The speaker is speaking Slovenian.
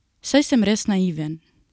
Saj sem res naiven.